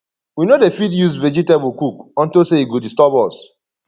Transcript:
we no dey fit use dis vegetable cook unto say e go disturb us